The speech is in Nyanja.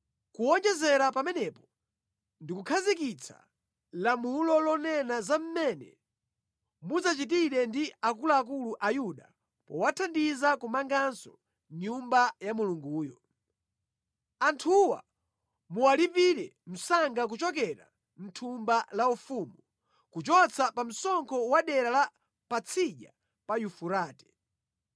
Kuwonjezera pamenepo, ndikukhazikitsa lamulo lonena za mmene mudzachitire ndi akuluakulu a Ayuda powathandiza kumanganso Nyumba ya Mulunguyo: Anthuwa muwalipire msanga kuchokera mʼthumba la ufumu, kuchotsa pa msonkho wa dera la Patsidya pa Yufurate.